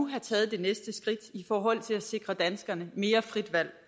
have taget det næste skridt i forhold til at sikre danskerne mere frit valg